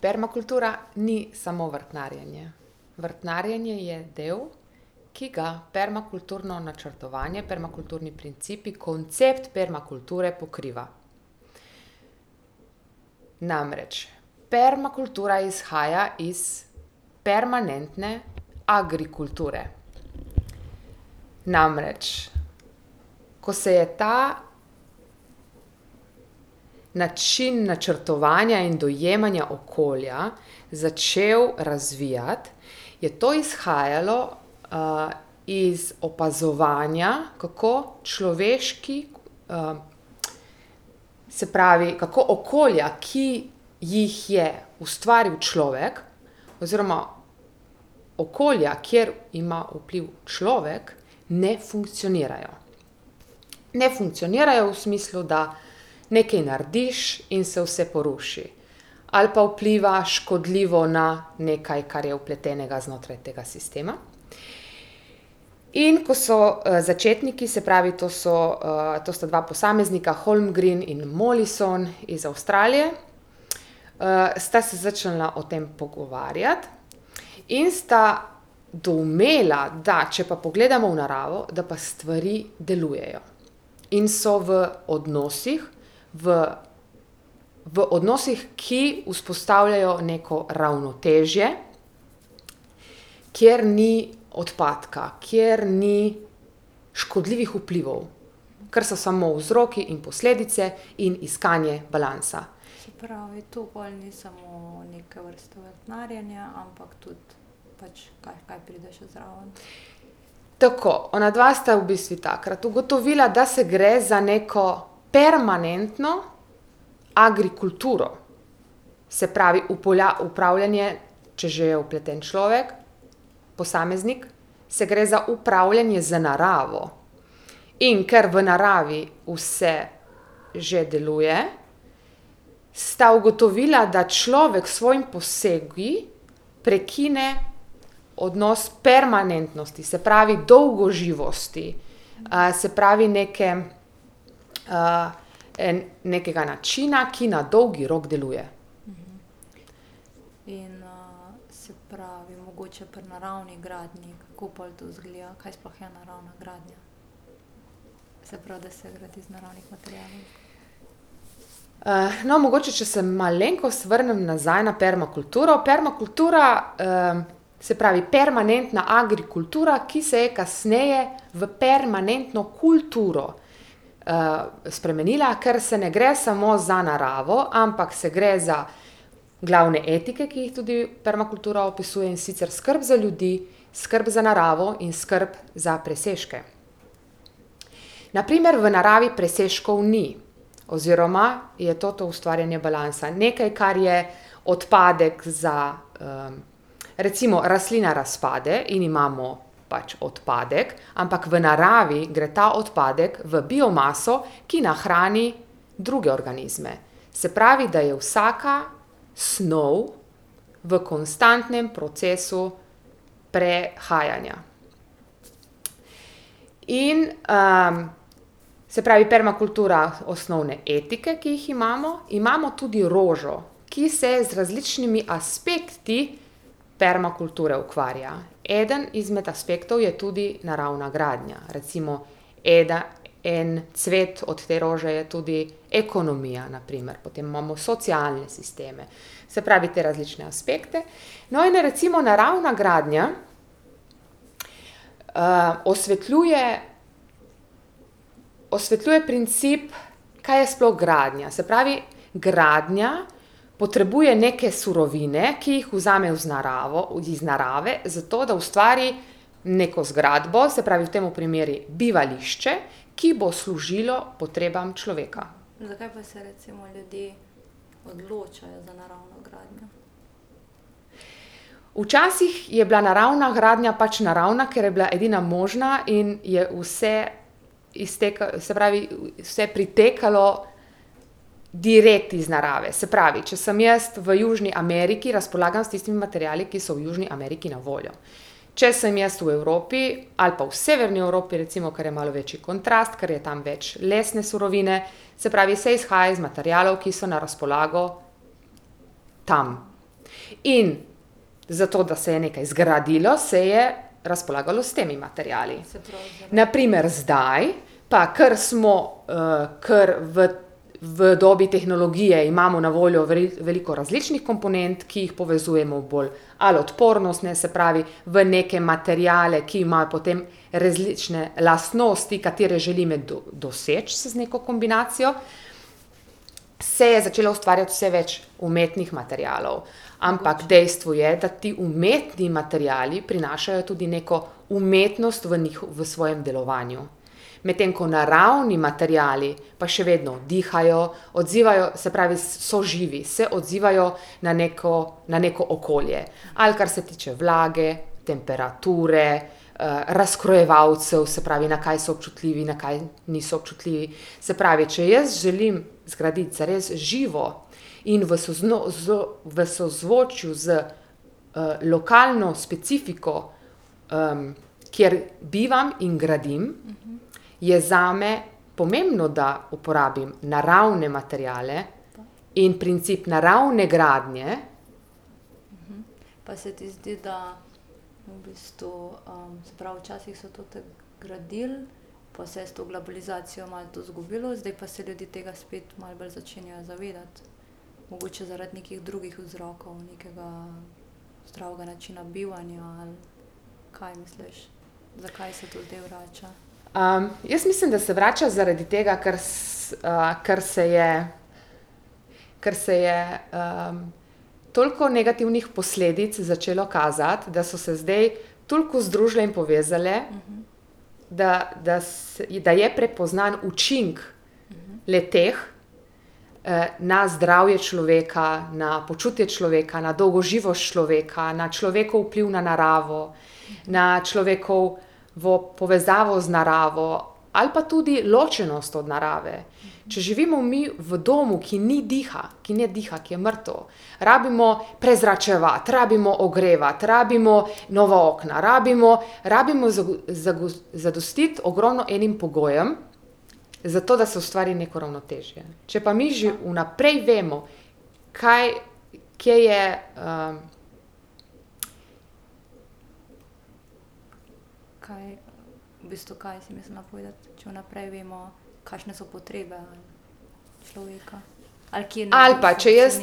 Permakultura ni samo vrtnarjenje. Vrtnarjenje je del, ki ga permakulturno načrtovanje, permakulturni principi, koncept permakulture pokriva. Namreč permakultura izhaja iz permanentne agrikulture. Namreč ko se je ta način načrtovanja in dojemanja okolja začel razvijati, je to izhajalo, iz opazovanja, kako človeški se pravi, kako okolja, ki jih je ustvaril človek, oziroma okolja, kjer ima vpliv človek, ne funkcionirajo. Ne funkcionirajo v smislu, da nekaj narediš in se vse poruši. Ali pa vpliva škodljivo na nekaj, kar je vpletenega znotraj tega sistema. In ko so, začetniki, se pravi, to so, to sta dva posameznika Holmgren in Mollison iz Avstralije, sta se začela o tem pogovarjati in sta doumela, da če pa pogledamo v naravo, da pa stvari delujejo in so v odnosih v, v odnosih, ki vzpostavljajo neko ravnotežje, kjer ni odpadka, kjer ni škodljivih vplival. Kar so samo vzroki in posledice in iskanje balansa. Tako. Onadva sta v bistvu takrat ugotovila, da se gre za neko permanentno agrikulturo. Se pravi upravljanje, če že je vpleten človek, posameznik, se gre za upravljanje z naravo. In ker v naravi vse že deluje, sta ugotovila, da človek s svojimi posegi prekine odnos permanentnosti. Se pravi dolgoživosti. se pravi, neke, nekega načina, ki na dolgi rok deluje. no, mogoče, če se malenkost vrnm nazaj na permakulturo. Permakultura, se pravi permanentna agrikultura, ki se je kasneje v permanentno kulturo, spremenila, ker se ne gre samo za naravo, ampak se gre za glavne etike, ki jih tudi permakultura opisuje, in sicer skrb za ljudi, skrb za naravo in skrb za presežke. Na primer v naravi presežkov ni. Oziroma je to to ustvarjanje balansa, nekaj, kar je odpadek za, recimo rastlina razpade in imamo pač odpadek, ampak v naravi gre ta odpadek v biomaso, ki nahrani druge organizme. Se pravi, da je vsaka snov v konstantnem procesu prehajanja. In, se pravi permakultura osnovne etike, ki jih imamo. Imamo tudi rožo, ki se z različnimi aspekti permakulture ukvarja. Eden izmed aspektov je tudi naravna gradnja. Recimo en cvet od te rože je tudi ekonomija, na primer, potem imamo socialne sisteme. Se pravi, te različne aspekte. No, in recimo naravna gradnja, osvetljuje, osvetljuje princip, kaj je sploh gradnja. Se pravi, gradnja potrebuje neke surovine, ki jih vzame z naravo, iz narave, zato da ustvari neko zgradbo, se pravi v temu primeru bivališče, ki bo služilo potrebam človeka. Včasih je bila naravna gradnja pač naravna, ker je bila edina možna in je vse se pravi, vse pritekalo direkt iz narave. Se pravi, če sem jaz v Južni Ameriki, razpolagam s tistimi materiali, ki so v Južni Ameriki na voljo. Če sem jaz v Evropi ali pa v Severni Evropi recimo, ker je malo večji kontrast, ker je tam več lesne surovine, se pravi se izhaja iz materialov, ki so na razpolago tam. In zato, da se je nekaj zgradilo, se je razpolagalo s temi materiali. Na primer zdaj pa, kar smo, ker v v dobi tehnologije, imamo na voljo veliko različnih komponent, ki jih povezujemo bolj ali odpornostne, se pravi, v neke materiale, ki imajo potem različne lastnosti, katere želimo doseči z z neko kombinacijo, se je začelo ustvarjati vse več umetnih materialov. Ampak dejstvo je, da ti umetni materiali prinašajo tudi neko umetnost v v svojem delovanju. Medtem ko naravni materiali pa še vedno dihajo, odzivajo, se pravi so živi, se odzivajo na neko, na neko okolje. Ali kar se tiče vlage, temperature, razkrojevalcev, se pravi, na kaj so občutljivi, na kaj niso občutljivi. Se pravi, če jaz želim zgraditi zares živo in v v sozvočju z, lokalno specifiko, kjer bivam in gradim, je zame pomembno, da uporabim naravne materiale in princip naravne gradnje. jaz mislim, da se vrača zaradi tega, ker ker se je, ker se je, toliko negativnih posledic začelo kazati, da so se zdaj toliko združile in povezale, da, da da je prepoznan učinek le-teh, na zdravje človeka, na počutje človeka, na dolgoživost človeka, na človekov vpliv na naravo, na človekovo povezavo z naravo, ali pa tudi ločenost od narave. Če živimo mi v domu, ki ni diha, ki ne diha, ki je mrtev, rabimo prezračevati, rabimo ogrevati, rabimo nova okna, rabimo, rabimo zadostiti ogromno enim pogojem, zato da se ustvari neko ravnotežje. Če pa mi že vnaprej vemo, kaj, kje je, Ali pa če jaz,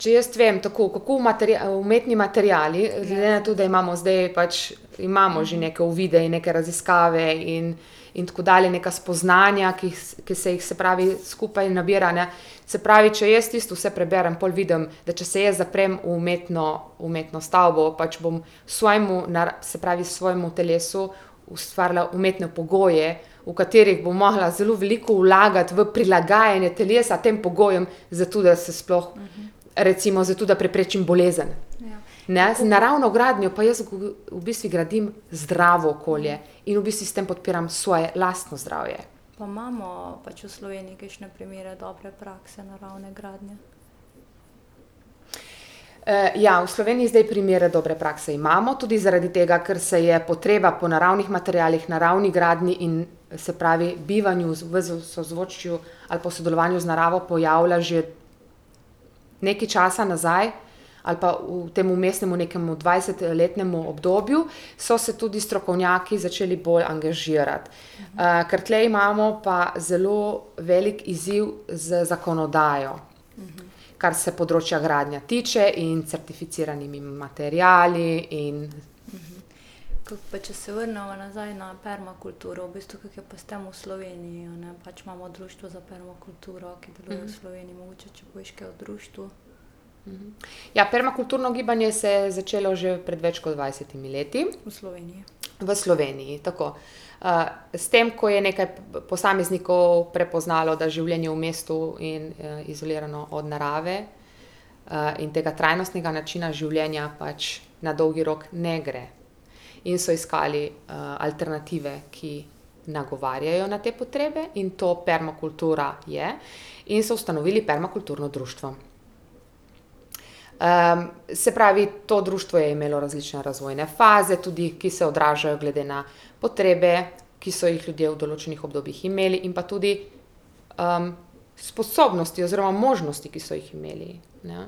če jaz vem, tako, kako umetni materiali, glede na to, da imamo zdaj pač imamo že neke uvide in neke raziskave in in tako dalje, neka spoznanja, ki ki se jih, se pravi, skupaj nabira, ne. Se pravi, če jaz tisto vse preberem, pol vidim, da če se jaz zaprem v umetno, umetno stavbo, pač bom svojemu se pravi, svojemu telesu ustvarila umetne pogoje, v katerih bom morala zelo veliko vlagati v prilagajanje telesa tem pogojem, zato da se sploh recimo zato, da preprečim bolezen. Ne, z naravno gradnjo pa jaz v bistvu gradim zdravo okolje in v bistvu s tem podpiram svoje lastno zdravje. ja, v Sloveniji zdaj primere dobre prakse imamo, tudi zaradi tega, ker se je potreba po naravnih materialih, naravi gradnji in, se pravi, bivanju v sozvočju ali pa v sodelovanju z naravo pojavlja že nekaj časa nazaj, ali pa v tem vmesnemu nekem dvajsetletnem obdobju, so se tudi strokovnjaki začeli bolj angažirati. kar tule imamo pa zelo veliko izziv z zakonodajo, kar se področja gradnje tiče, in certificiranimi materiali in ... Ja, permakulturno gibanje se je začelo že pred več kot dvajsetimi leti. V Sloveniji, tako. s tem, ko je nekaj posameznikov prepoznalo, da življenje v mestu in, izolirano od narave, in tega trajnostnega načina življenja pač na dolgi rok ne gre. In so iskali, alternative, ki nagovarjajo na te potrebe, in to permakultura je, in so ustanovili permakulturno društvo. se pravi, to društvo je imelo različne razvojne faze tudi, ki se odražajo glede na potrebe, ki so jih ljudje v določenih obdobjih imeli, in pa tudi, sposobnosti oziroma možnosti, ki so jih imeli, ne.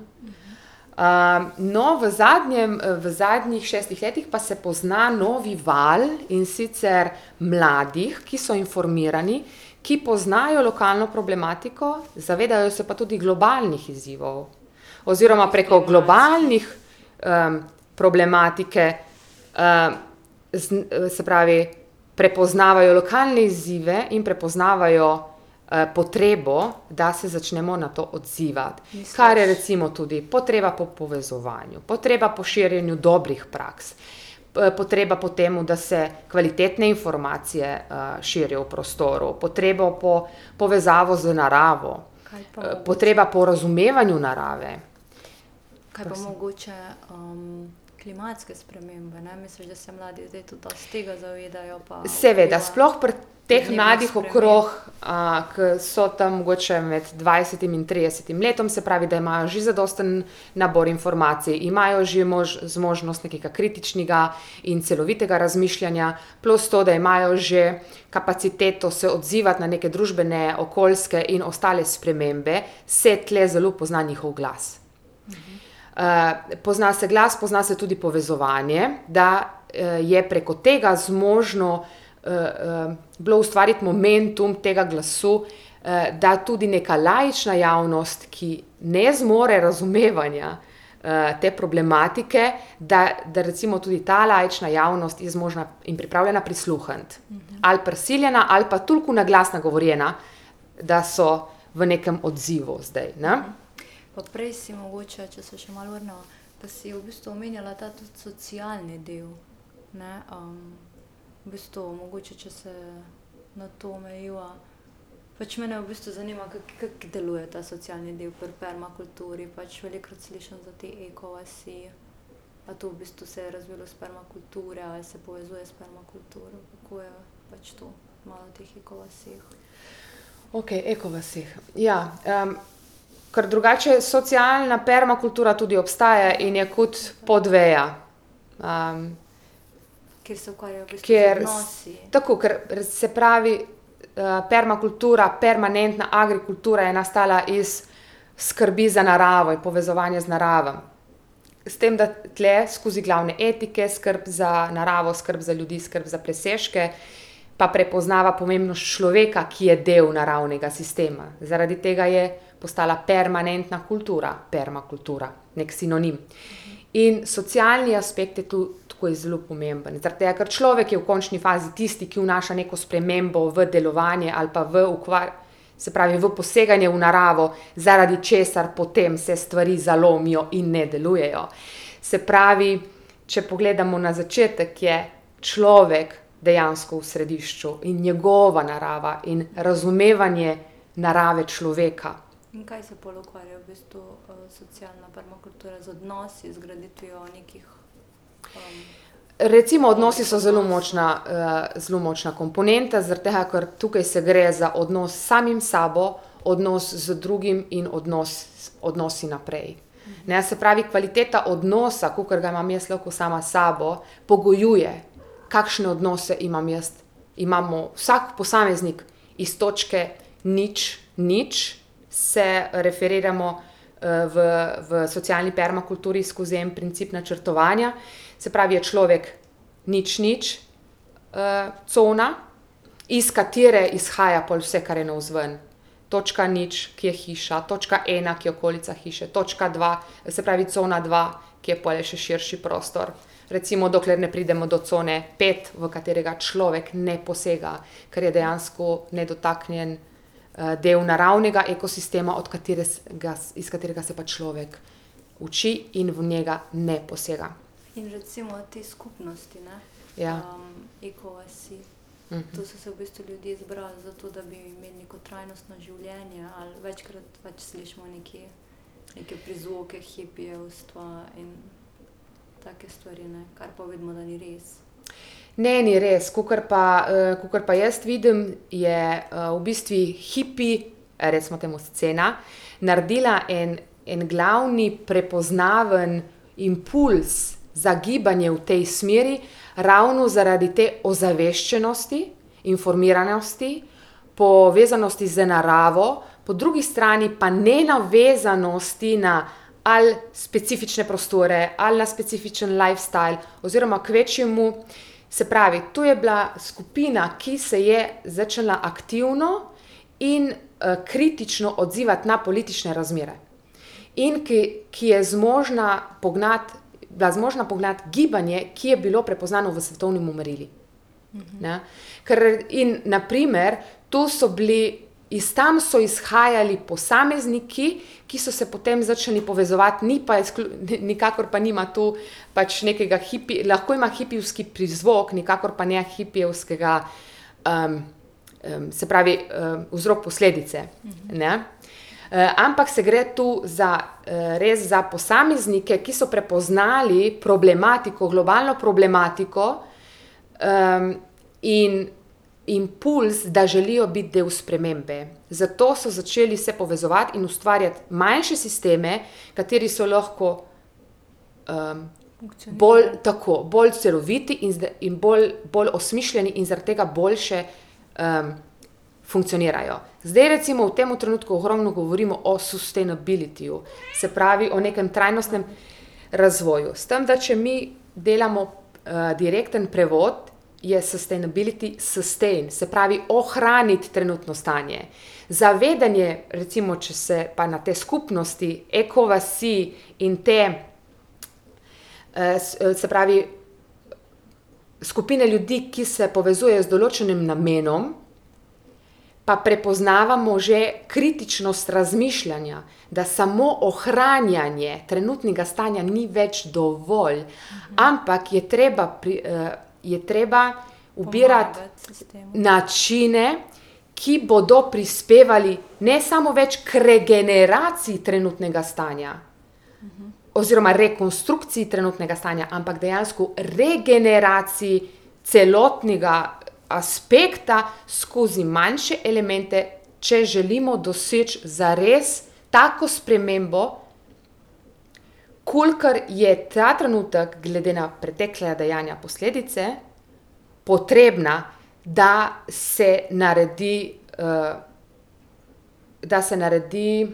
no, v zadnjem, v zadnjih šestih letih pa se pozna novi val, in sicer mladih, ki so informirani, ki poznajo lokalno problematiko, zavedajo se pa tudi globalnih izzivov. Oziroma preko globalnih, problematike, se pravi, prepoznavajo lokalne izzive in prepoznavajo, potrebo, da se začnemo na to odzivati. Kar je recimo tudi potreba po povezovanju, potreba po širjenju dobrih praks, potreba po temu, da se kvalitetne informacije, širijo v prostoru, potrebo po povezavo z naravo, potreba po razumevanju narave. Seveda. Sploh pri teh mladih okrog, ke so tam mogoče med dvajsetim in tridesetim letom, se pravi, da imajo že zadosten nabor informacij, imajo že zmožnost nekega kritičnega in celovitega razmišljanja, plus to, da imajo že kapaciteto se odzivati na neke družbene, okoljske in ostale spremembe, se tule zelo pozna njihov glas. pozna se glas, pozna se tudi povezovanje, da, je preko tega zmožno, bilo ustvariti momentum tega glasu, da tudi neka laična javnost, ki ne zmore razumevanja, te problematike, da, da recimo tudi ta laična javnost je zmožna in pripravljena prisluhniti. Ali prisiljena ali pa toliko na glas nagovorjena, da so v nekem odzivu zdaj, ne. Okej, ekovasi. Ja, ker drugače socialna permakultura tudi obstaja in je kot podveja, ker ... Tako. Ker, se pravi, permakultura, permanentna agrikultura je nastala iz skrbi za naravo in povezovanja z naravo. S tem, da tule skozi glavne etike skrb za naravo, skrb za ljudi, skrb za presežke, pa prepoznava pomembnost človeka, ki je del naravnega sistema. Zaradi tega je postala permanentna kultura, permakultura. Neki sinonim. In socialni aspekt je to, tako, je zelo pomembno, zaradi tega, ker človek je v končni fazi tisti, ki vnaša neko spremembo v delovanje ali pa v se pravi v poseganje v naravo, zaradi česar potem se stvari zalomijo in ne delujejo. Se pravi, če pogledamo na začetek, je človek, človek dejansko v središču, in njegova narava in razumevanje narave človeka. Recimo odnosi so zelo močna, zelo močna komponenta, zaradi tega, ker tukaj se gre za odnos s samim sabo, odnos z drugim in odnos, odnosi naprej, ne. Se pravi, kvaliteta odnosa, kakor ga imam jaz lahko sama s sabo, pogojuje, kakšne odnose imam jaz, imamo vsak posameznik iz točke nič, nič. Se referiramo, v, v socialni permakulturi skozi en princip načrtovanja. Se pravi, je človek nič, nič, cona, iz katere izhaja pol vse, kar je navzven. Točka nič, ki je hiša, točka ena, ki je okolica hiše, točka dva, se pravi cona dva, ki je pol še širši prostor, recimo, dokler ne pridemo do cone pet, v katerega človek ne posega, ker je dejansko nedotaknjen, del naravnega ekosistema, od katerega, iz katerega se pa človek uči in v njega ne posega. Ja. Ne, ni res. Kakor pa, kakor pa jaz vidim, je v bistvu hipi, recimo temu, scena naredila en, en glavni prepoznaven impulz za gibanje v tej smeri, ravno zaradi te ozaveščenosti, informiranosti, povezanosti z naravo, po drugi strani pa nenavezanosti na ali specifične prostore ali na specifičen lifestyle oziroma kvečjemu, se pravi, to je bila skupina, ki se je začela aktivno in, kritično odzivati na politične razmere. In ki, ki je zmožna pognati, bila zmožna pognati gibanje, ki je bilo prepoznano v svetovnem merilu, ne. Ker, in na primer to so bili, iz tam so izhajali posamezniki, ki so se potem začeli povezovati. Ni pa nikakor pa nima to pač nekega lahko ima hipijevski prizvok, nikakor pa ne hipijevskega, se pravi, vzrok, posledice, ne. ampak se gre tu za, res za posameznike, ki so prepoznali problematiko, globalno problematiko, in impulz, da želijo biti del spremembe. Zato so začeli se povezovati in ustvarjati manjše sisteme, kateri so lahko, bolj, tako, bolj celoviti in in bolj, bolj osmišljeni in zaradi tega boljše, funkcionirajo. Zdaj recimo, v tem trenutku ogromno govorimo o sustainabilityju, se pravi o nekem trajnostnem razvoju. S tem, da če mi delamo, direktni prevod, je sustainability, sustain, se pravi, ohraniti trenutno stanje. Zavedanje, recimo če se pa na te skupnosti, ekovasi, in te, se pravi, skupine ljudi, ki se povezujejo z določenim namenom, pa prepoznavamo že kritičnost razmišljanja. Da samo ohranjanje trenutnega stanja ni več dovolj, ampak je treba je treba ubirati načine, ki bodo prispevali, ne samo več kot regeneraciji trenutnega stanja oziroma rekonstrukciji trenutnega stanja, ampak dejansko regeneraciji celotnega aspekta skozi manjše elemente, če želimo doseči zares tako spremembo, kolikor je ta trenutek glede na pretekla dejanja, posledice potrebna, da se naredi, da se naredi,